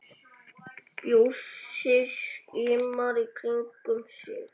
Bjössi skimar í kringum sig.